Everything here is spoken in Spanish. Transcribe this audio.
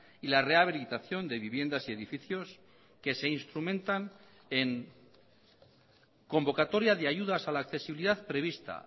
y la rehabilitación de viviendas y edificios que se instrumentan en convocatoria de ayudas a la accesibilidad prevista